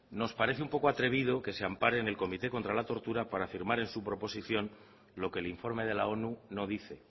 nos parece un poco atrevido que se ampare en el comité contra la tortura para afirmar en su proposición lo que el informe de la onu no dice